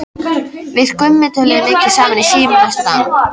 Við Gummi töluðum mikið saman í síma næstu daga.